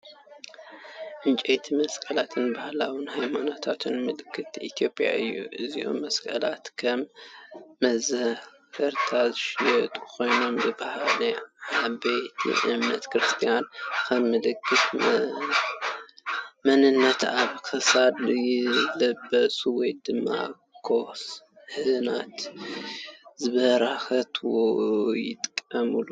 ዕንጨይቲ መስቀል ባህላውን ሃይማኖታውን ምልክት ኢትዮጵያ እዩ። እዞም መስቀላት ከም መዘከርታ ዝሽየጡ ኮይኖም፡ ብባህሊ ሰዓብቲ እምነት ክርስትና ከም ምልክት መንነት ኣብ ክሳድ ይለብሱ ወይ ድማ ካህናት ንበረኸት ይጥቀሙሉ።